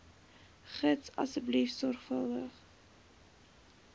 gids asseblief sorgvuldig